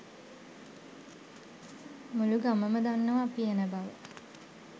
මුළු ගමම දන්නවා අපි එන බව.